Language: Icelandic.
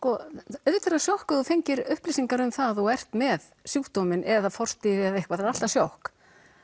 auðvitað er það sjokk ef þú fengir upplýsingar um að þú ert með sjúkdóminn eða forstig eða eitthvað það er alltaf sjokk